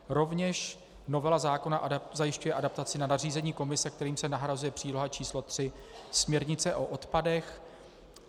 Rovněž novela zákona zajišťuje adaptaci na nařízení Komise, kterým se nahrazuje příloha č. 3 směrnice o odpadech.